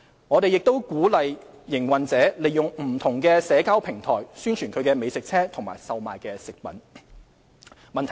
我們亦鼓勵營運者利用不同社交平台宣傳其美食車及售賣的食品。